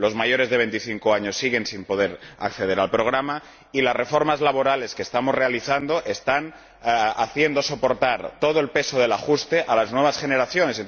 Los mayores de veinticinco años siguen sin poder acceder al programa y las reformas laborales que estamos realizando están haciendo soportar todo el peso del ajuste a las nuevas generaciones.